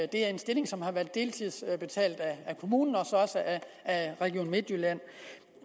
det er en stilling som har været betalt af kommunen og af region midtjylland